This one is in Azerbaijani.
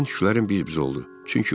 Birdən düşüncələrim biz-biz oldu.